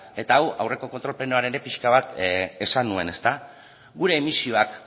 eta hau aurreko kontrol plenoan ere pixka bat esan nuen ezta gure emisioak